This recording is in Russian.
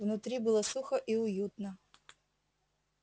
внутри было сухо и уютно